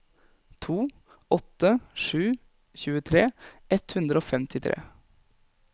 to åtte sju sju tjuetre ett hundre og femtitre